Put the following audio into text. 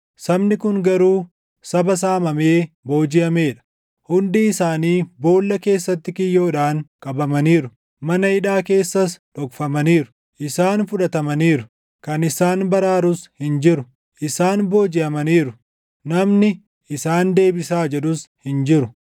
Sabni kun garuu saba saamamee boojiʼamee dha; hundii isaanii boolla keessatti kiyyoodhaan qabamaniiru; mana hidhaa keessas dhokfamaniiru. Isaan fudhatamaniiru; kan isaan baraarus hin jiru; isaan boojiʼamaniiru; namni, “Isaan deebisaa” jedhus hin jiru.